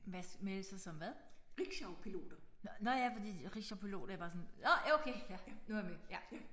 Hvad melde sig som hvad? Nåh nåh ja fordi rickshawpiloter jeg er bare sådan nåh ja okay nu er jeg med